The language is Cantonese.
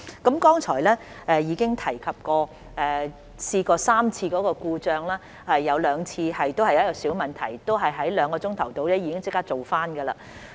我剛才已提及系統曾出現3次故障，其中兩次涉及小問題，並已在兩小時內解決。